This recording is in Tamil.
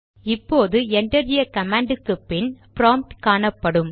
இப்போது என்டர் அ கமாண்ட் க்கு பின் ப்ராம்ட் காணப்படும்